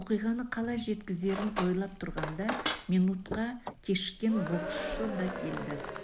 оқиғаны қалай жеткізерін ойлап тұрғанда минутқа кешіккен боксшы да келді